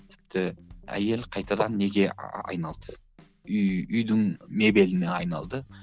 тіпті әйел қайтадан неге айналды үй үйдің мебеліне айналды